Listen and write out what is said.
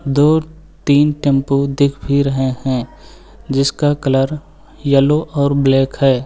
दो तीन टेंपो दिख भी रहे हैं जिसका कलर येलो और ब्लैक है।